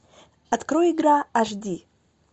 открой игра аш ди